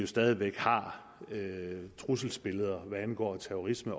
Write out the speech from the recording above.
stadig væk har trusselsbilleder hvad angår terrorisme